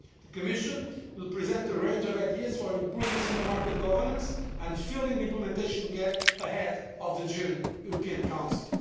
The Commission will present a range of ideas for improving single market governance and filling the implementation gap ahead of the June European Council.